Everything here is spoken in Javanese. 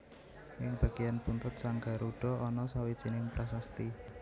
Ing bagéyan buntut sang Garudha ana sawijining prasasti